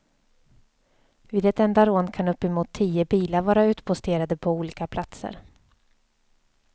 Vid ett enda rån kan uppemot tio bilar vara utposterade på olika platser.